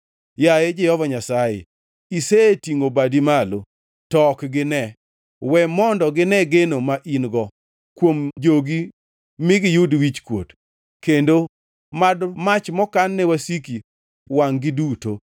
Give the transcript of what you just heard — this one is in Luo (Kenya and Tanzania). Yaye Jehova Nyasaye, isetingʼo badi malo, to ok gine. We mondo gine geno ma in-go, kuom jogi mi giyud wichkuot, kendo mad mach mokan ne wasiki wangʼ-gi duto.